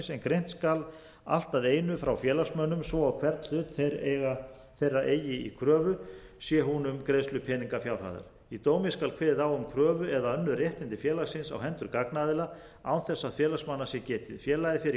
sem greint skal allt að einu frá félagsmönnum svo og hvern hlut þeir eigi í kröfu sé hún um greiðslu peningafjárhæðar í dómi skal kveðið á um kröfu eða önnur réttindi félagsins á hendi gagnaðila án þess að félagsmanna sé getið félagið fer í